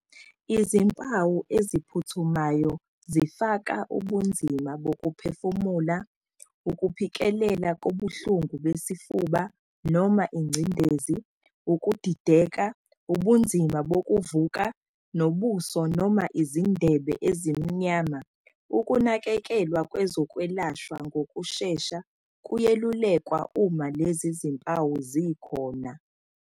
Izimpawu eziphuthumayo zifaka ubunzima bokuphefumula, ukuphikelela kobuhlungu besifuba noma ingcindezi, ukudideka, ubunzima bokuvuka, nobuso noma izindebe ezimnyama, ukunakekelwa kwezokwelashwa ngokushesha kuyelulekwa uma lezi zimpawu zikhona.